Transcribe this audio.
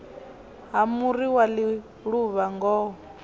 ha muri wa ḽiluvha ngoho